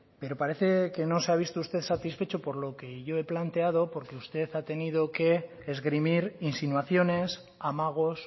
pero parece que no se ha visto usted satisfecho por lo que yo he planteado porque usted ha tenido que esgrimir insinuaciones amagos